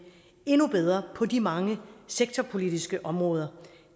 endnu bedre på de mange sektorpolitiske områder